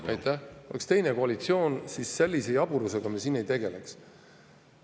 Kui siin oleks teine koalitsioon, siis sellise jaburusega me ei tegeleks.